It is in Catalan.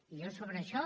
jo sobre això